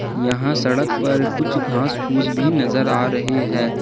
यहां सड़क पर कुछ घास फूस भी नजर आ रही है।